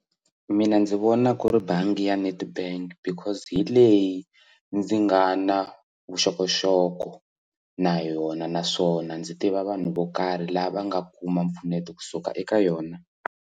Mina ndzi vona ku ri bangi ya Nedbank because hi leyi ndzi nga na vuxokoxoko na yona naswona ndzi tiva vanhu vo karhi lava nga kuma mpfuneto kusuka eka yona.